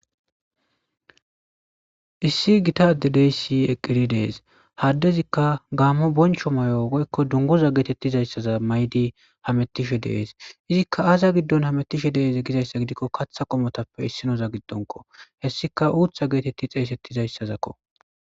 issi gitade dey si eqqiri dees haddezikka gaammo boncho may7o goykko dunguza geetettizayssaza maydi hamettishe dees izikka aaza giddon hametishe deeze gizayssa gidikko katha qomotappe issinoza giddonko hessika uutha geetetti xeesettizayssazakko